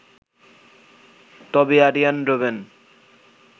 তবে আরিয়ান রবেন